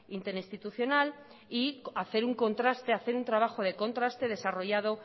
interinstitucional y hacer un contraste hacer un trabajo de contraste desarrollado